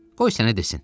Qoy sənə desin.